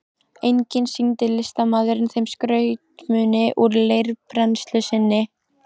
Einnig sýndi listamaðurinn þeim skrautmuni úr leirbrennslu sinni.